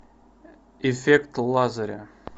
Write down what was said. эффект лазаря